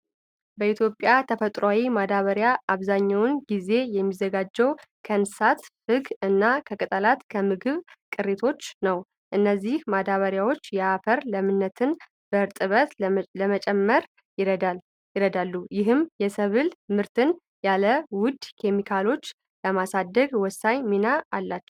በኢትዮጵያ የተፈጥሮ ማዳበሪያ አብዛኛው ጊዜ የሚዘጋጀው ከእንስሳት ፍግ እና ከቅጠልና ከምግብ ቅሪቶች ነው። እነዚህ ማዳበሪያዎች የአፈርን ለምነትና እርጥበት ለመጨመር ይረዳሉ፤ ይህም የሰብል ምርትን ያለ ውድ ኬሚካሎች ለማሳደግ ወሳኝ ሚና አላቸው።